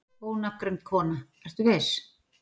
Ónafngreind kona: Ertu viss?